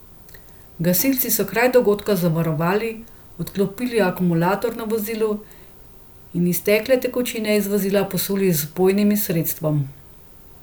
Gasilci so kraj dogodka zavarovali, odklopili akumulator na vozilu in iztekle tekočine iz vozila posuli z vpojnim sredstvom.